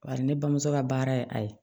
Bari ne bamuso ka baara ye a ye